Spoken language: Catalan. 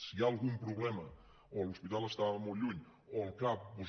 si hi ha algun problema o l’hospital estava molt lluny o el cap doncs